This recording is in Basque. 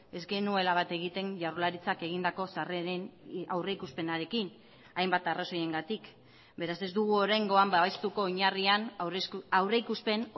ez genuela bat egiten jaurlaritzak egindako sarreren aurrikuspenarekin hainbat arrazoiengatik beraz ez dugu oraingoan babestuko oinarrian aurrikuspen